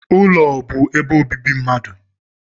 Ụlọ bụ ebe obibi mmadụ.